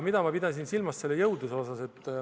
Mida ma pidasin silmas selle jõudluse all?